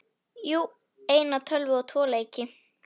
Jú, eina tölvu og tvo leiki.